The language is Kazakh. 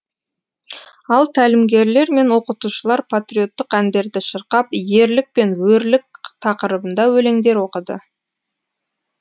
ал тәлімгерлер мен оқытушылар патриоттық әндерді шырқап ерлік пен өрлік тақырыбында өлеңдер оқыды